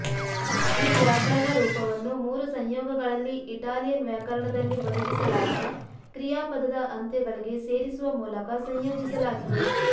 ಈ ವ್ಯಾಕರಣ ರೂಪವನ್ನು ಮೂರು ಸಂಯೋಗಗಳಲ್ಲಿ ಇಟಾಲಿಯನ್ ವ್ಯಾಕರಣದಲ್ಲಿ ಒದಗಿಸಲಾದ ಕ್ರಿಯಾಪದದ ಅಂತ್ಯಗಳಿಗೆ ಸೇರಿಸುವ ಮೂಲಕ ಸಂಯೋಜಿಸಲಾಗಿದೆ